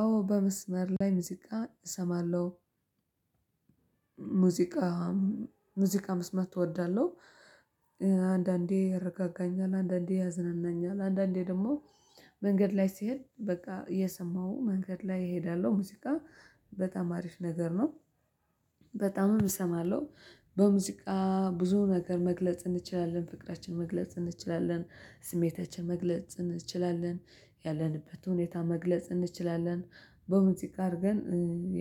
አዎ በመስመር ላይ ሙዚቃ እሰማለሁ ሙዚቃ መስማት እወዳለሁ። አንዳንዴ ያረጋጋኛል አንዳንዴ ያዝናናኛል አንዳንዴ ደግሞ መንገድ ላይ ሲሄድ በቃ እየሰማው መንገድ ላይ እሄዳለሁ ሙዚቃ በጣም አሪፍ ነገር ነው። በጣም እሰማለሁ በሙዚቃ ብዙ ነገር መግለጽ እንችላለን ፍቅራችን መግለጽ እንችላለን ስሜታችን መግለጽ እንችላለን ያለንበት ሁኔታ መግለጽ እንችላለን በሙዚቃ አርገን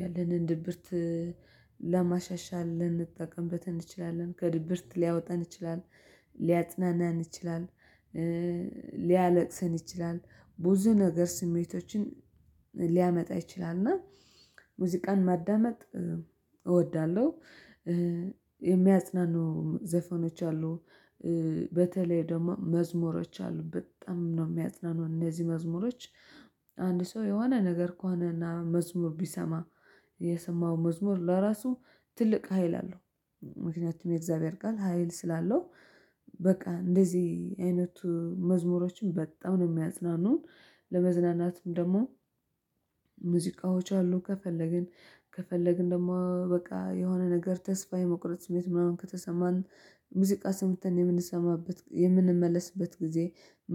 ያለንን ድብርት ለማሻሻል ልንጠቀምበት እንችላለን ከድብርት ሊያወጣን ይችላል ሊያጽናናን ይችላል። ሊያለቅስን ይችላል ብዙ ነገር ስሜቶችን ሊያመጣ ይችላል እና ሙዚቃን ማዳመጥ እወዳለሁ። የሚያጽናኑ ዘፈኖች አሉ በተለይ ደግሞ መዝሙሮች አሉ በጣም ነው የሚያጽናኑን እነዚህ መዝሙሮች። አንድ ሰው የሆነ ነገር ከሆነ እና መዝሙር ቢሰማ የሰማው መዝሙር ለራሱ ትልቅ ሀይል አለው ምክንያቱም የእግዚአብሔር ቃል ሀይል ስላለው በቃ እንደዚህ አይነቱ መዝሙሮችን በጣም ነው የሚያጽናኑን። ለመዝናናትም ደግሞ ሙዚቃዎች አሉ። ከፈለግን ከፈለግን ደግሞ በቃ የሆነ ነገር ተስፋ የመቁረጥ ስሜት ምናምን ከተሰማን ሙዚቃ ስምተን የምንሰማበት የምንመለስበት ጊዜ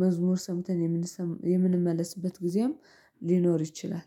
መዝሙር ሰምተን የምንሰ የምንመለስበት ጊዜም ሊኖር ይችላል